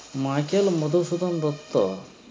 Michael Madhusudan Dutta